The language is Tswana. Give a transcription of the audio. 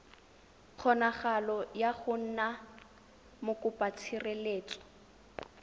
kgonagalo ya go nna mokopatshireletso